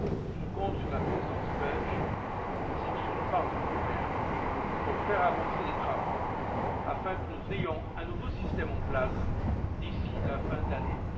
Je compte sur la présidence belge, ainsi que sur le Parlement européen, pour faire avancer les travaux afin que nous ayons un nouveau système en place d'ici la fin de l'année